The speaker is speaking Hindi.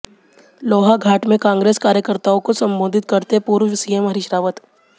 लोहाघाट में कांग्रेस कार्यकर्ताओं को संबोधित करते पूर्व सीएम हरीश रावत